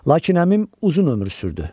Lakin əmim uzun ömür sürdü.